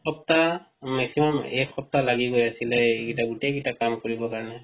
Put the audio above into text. এক সপ্তাহ maximum এক সপ্তাহ লাগিৱ actually এই কিটা গুটেকিটা কাম কৰিব কাৰনে